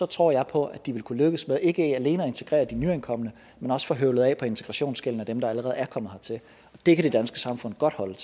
tror jeg på at de vil kunne lykkes med ikke alene at integrere de nyankomne men også få høvlet af på integrationsgælden til dem der allerede er kommet hertil og det kan det danske samfund godt holde